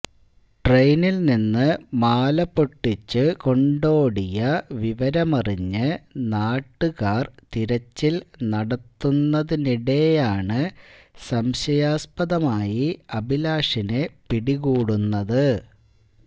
ട്രെയിനില് നിന്ന് മാല പൊട്ടിച്ചു കൊണ്ടോടിയ വിവരമറിഞ്ഞ് നാട്ടുകാര് തിരച്ചില് നടത്തുന്നതിനിടെയാണ് സംശയാസ്പദമായി അഭിലാഷിനെ പിടികൂടുന്നത്